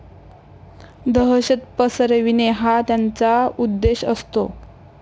दहशत पसरविणे हा त्यांचा उद्देश असतो.